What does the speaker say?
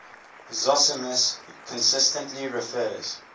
zosimus consistently refers